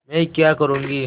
मैं क्या करूँगी